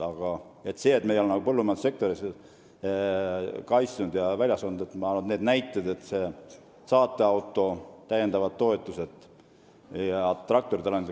Ma arvan, et seda väidet, et me ei ole põllumajandussektorit kaitsnud või see on välja surnud, ei kinnita nimetatud näited, st saateautost loobumine, täiendavad toetused jne.